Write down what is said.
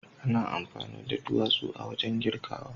ana amfani da duwatsu wajen kirgawa.